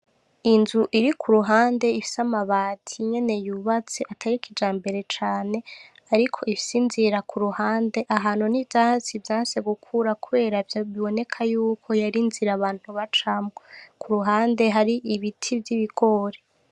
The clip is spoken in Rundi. Inzu iri kuruhuhande ifise amabati nyene yubatse atari kijambere cane ariko ifise inzira kuruhande ahantu n’ivyatsi vyanse gukura kubera biboneka yuko yari inzira abantu bacamwo kuruhande hari ibiti vy’ibigori.